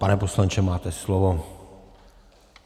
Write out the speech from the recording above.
Pane poslanče, máte slovo.